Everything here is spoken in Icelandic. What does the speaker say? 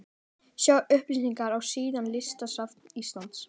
Sjá upplýsingar á síðum listasafns Íslands.